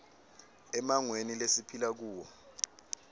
emmangweni lesiphila kuwo